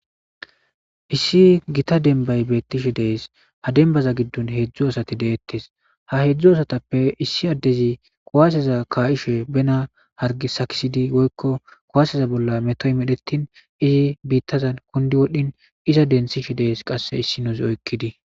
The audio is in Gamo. Issi gita denbay beettishe dees ha denbaza giddun heedzdzu asati deettes ha heedzdzu asatappe issi addezi kuwaseza kayishe bena hargi sakisidi woykko kuwaseza bolla metoy medhettin izi biittazan kundi wodhin iza densishe dees qasse issinozza oyikidi.